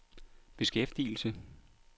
beskæftigelse